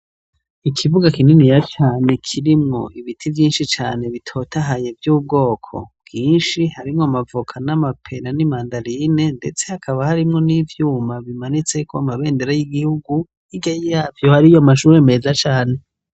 Ikibuga kininiya cane kirimwo ibiti vyinshi cane bitotahaye vy'ubwoko bwinshi harimw' amavoka n'amapera n'imandarine ndetse hakaba harimwo n'ivyuma bimanitsek'amabendera y'igihugu, hirya yavyo hariy'amashure meza cane.